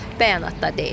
Bəyanatda deyilir.